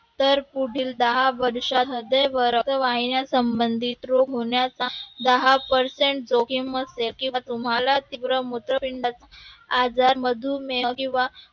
तर पुढील दहा वर्षांमध्ये रक्तवाहिन्या संबंधित रोग होण्याचा दहा percent जोखीम असते किंवा तुम्हाला तिकडं मूत्रपिंडात आजार मधुमेह किंवा